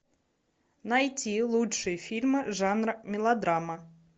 найти лучшие фильмы жанра мелодрама